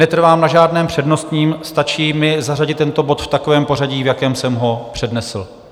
Netrvám na žádném přednostním, stačí mi zařadit tento bod v takovém pořadí, v jakém jsem ho přednesl.